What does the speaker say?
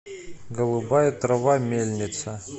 голубая трава мельница